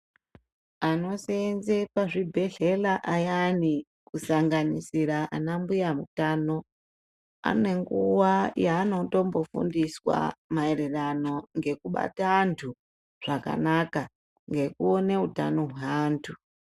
Anosenze pazvibhedhlera ayani kusanganisira ana mbuya mutano. Anenguva yaanotombo fundiswa maererano ngekubata antu zvakanaka ngekuone utano hweantu.